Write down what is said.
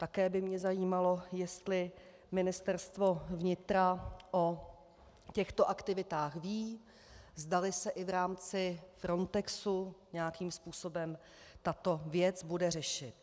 Také by mě zajímalo, jestli Ministerstvo vnitra o těchto aktivitách ví, zdali se i v rámci Frontexu nějakým způsobem tato věc bude řešit.